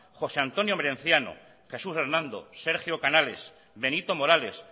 josé antonio merenciano jesús hernando sergio canales benito morales